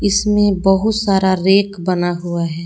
इसमें बहुत सारा रैक बना हुआ है।